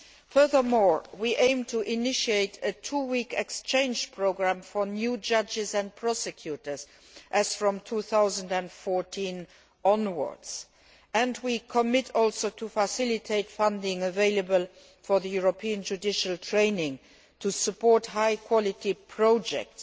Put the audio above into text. Furthermore, we aim to initiate a two week exchange programme for new judges and prosecutors as from 2014 onwards and we undertake also to facilitate funding available for European judicial training to support high quality projects,